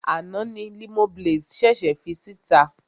Àná ni Limoblaze ṣèṣè fi síta.